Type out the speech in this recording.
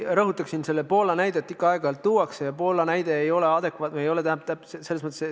Ma rõhutaksin, et kuigi Poola näidet ikka aeg-ajalt tuuakse, ei ole see näide adekvaatne.